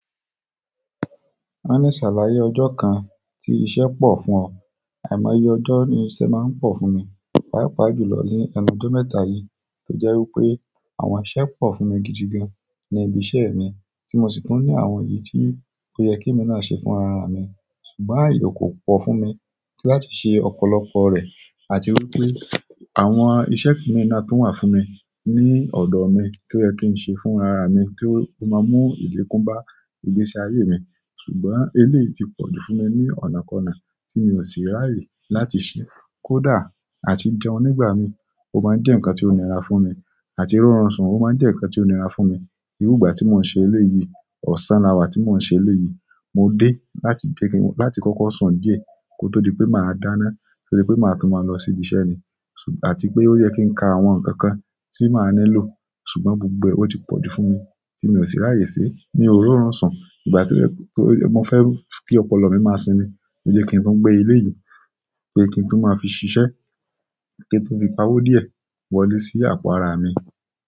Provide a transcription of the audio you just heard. Ó ní ṣàlàyé ọjọ́ kan tí iṣẹ́ pọ̀ fún ọ àìmọye ọjọ́ ni iṣẹ́ máa ń pọ̀ fún mi. Páapá jù lọ ní ẹnu ọjọ́ mẹ́ta yìí tó jẹ́ wípé àwọn iṣẹ́ pọ̀ fún mi gidi gan ní ibi iṣẹ́ mi tí mo sì tún ní àwọn èyí tí ó yẹ kí èmi náà ṣe fún ara mi ṣùgbọ́n àyè kò pọ̀ fún mi láti ṣe ọ̀pọ̀lọpọ̀ rẹ̀. Àti wípé àwọn iṣẹ́ mi náà tó wà fún mi ní ọ̀dọ̀ mi tó yẹ kí ń ṣe fún ara mi tó máa mú ilekun bá ìgbésí ayé mi ṣùgbọ́n eléyìí ti pọ̀jù fún mi ní ọ̀nàkọ́na tí mi ò sì rààyè láti ṣe. Kódà àti jẹun nígbà mi ó máa ń jẹ́ ǹkan tó nira fún mi àti rọrùn ṣun ó máa ń jẹ́ ǹkan tó nira fún mi. Irú ìgbà tí mò ń ṣe eléyìí, ọ̀sán lawà tí mò ń ṣe eléyìí. Mo dé láti jẹ́kì láti kọkọ sùn díẹ̀ kó tó di pé màá dáná tórí pé màá tún máa lọ sí ibi iṣẹ́ ni àti pé ó yẹ kí n ka àwọn nǹkan kan tí màá ni lò ṣùgbọ́n gbogbo ẹ ó ti pọ̀jù fún mi tí mi ò sì rààyè se mio r'orun sun. Mo fẹ ki ọ̀pọ̀lọpọ̀ mi maa sinmi lo je kin tun gbe eleyii pe kin tun maa fi ṣiṣẹ kin fi pawo diẹ wọlé si àpò ara mi.